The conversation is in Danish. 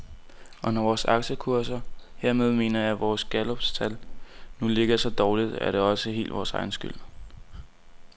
Og når vores aktiekurser, hermed mener jeg vores galluptal, nu ligger så dårligt, er det også helt vores egen skyld.